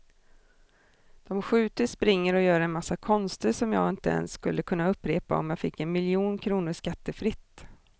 De skjuter, springer och gör en massa konster som jag inte ens skulle kunna upprepa om jag fick en miljon kronor skattefritt.